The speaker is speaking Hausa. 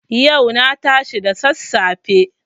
Yau na tashi da sassafe.